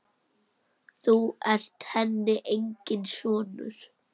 Þú ert henni enginn sonur.